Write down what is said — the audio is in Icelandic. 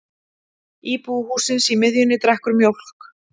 Íbúi hússins í miðjunni drekkur mjólk.